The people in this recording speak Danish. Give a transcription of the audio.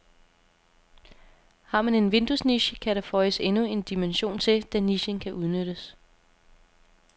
Har man en vinduesniche, kan der føjes endnu en dimension til, da nichen kan udnyttes.